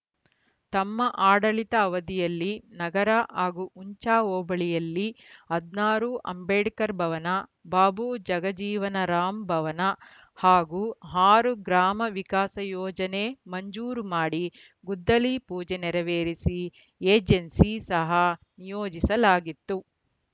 ತಮ್ಮ ಆಡಳಿತ ಅವಧಿಯಲ್ಲಿ ನಗರ ಹಾಗೂ ಹುಂಚಾ ಹೋಬಳಿಯಲ್ಲಿ ಹದಿನಾರು ಅಂಬೇಡ್ಕರ್‌ ಭವನ ಬಾಬು ಜಗಜೀವನರಾಂ ಭವನ ಹಾಗೂ ಆರು ಗ್ರಾಮ ವಿಕಾಸ ಯೋಜನೆ ಮಂಜೂರು ಮಾಡಿ ಗುದ್ದಲಿ ಪೂಜೆ ನೆರವೇರಿಸಿ ಏಜೆನ್ಸಿ ಸಹ ನಿಯೋಜಿಸಲಾಗಿತ್ತು